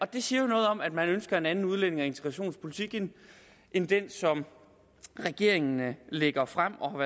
det siger jo noget om at man ønsker en anden udlændinge og integrationspolitik end end den som regeringen lægger frem og